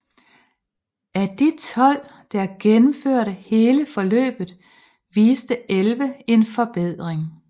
Af de 12 der gennemførte hele forløbet viste 11 en forbedring